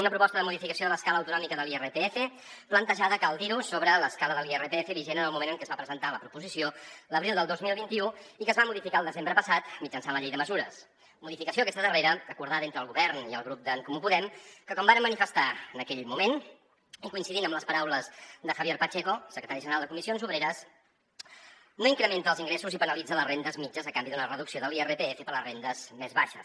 una proposta de modificació de l’escala autonòmica de l’irpf plantejada cal dirho sobre l’escala de l’irpf vigent en el moment en què es va presentar la proposició l’abril del dos mil vint u i que es va modificar al desembre passat mitjançant la llei de mesures modificació aquesta darrera acordada entre el govern i el grup d’en comú podem que com varen manifestar en aquell moment i coincidint amb les paraules de javier pacheco secretari general de comissions obreres no incrementa els ingressos i penalitza les rendes mitjanes a canvi d’una reducció de l’irpf per a les rendes més baixes